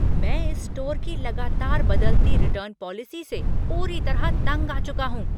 मैं इस स्टोर की लगातार बदलती रिटर्न पॉलिसी से पूरी तरह तंग आ चुका हूं।